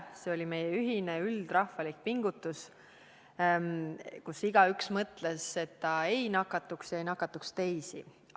See oli meie ühine, üldrahvalik pingutus, mille puhul igaüks mõtles selle peale, et ta ei nakatuks ise ega nakataks teisi.